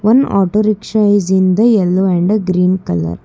auto rickshaw is in the yellow and green colour.